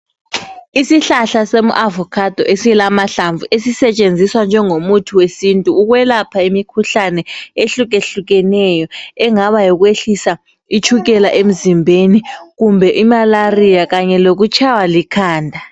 Isihlahla som avocado esilamahlamvu esesetshenziswa njengomuthi wesintu ukwelapha imikhuhlane ehlukehlukeneyo engaba yikwehlisa itshukela emzimbeni kumbe malaria kanye lokutshaywa likhanda.